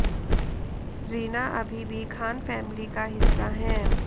रीना अभी भी खान फैमिली का हिस्सा हैं